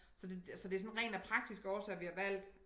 Så det så det sådan rent af praktiske årsager vi har valgt